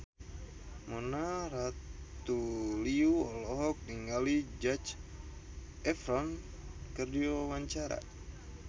Mona Ratuliu olohok ningali Zac Efron keur diwawancara